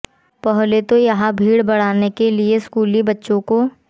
पहले तो यहां भीड़ बढ़ाने के लिए स्कूली बच्चों को